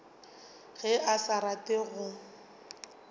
ge o sa rate go